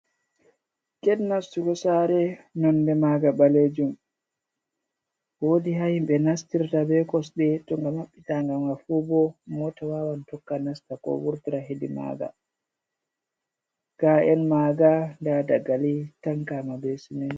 Get nastugo sare nonde maga ɓalejum, wodi ha himɓe nastirta be kosde to nga maɓɓita gamanfu bo mota wawan tokka nasta ko wurtira hedi maga, ga en maga nda dagali tankama be siminti.